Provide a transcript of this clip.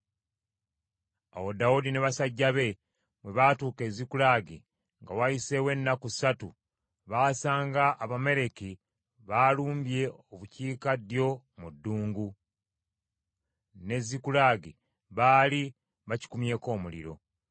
Awo Dawudi ne basajja be bwe baatuuka e Zikulagi, nga wayiseewo ennaku ssatu, baasanga Abamaleki baalumbye obukiikaddyo mu ddungu; ne Zikulagi, baali bakikumyeko omuliro.